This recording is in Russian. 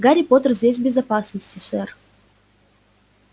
гарри поттер здесь в безопасности сэр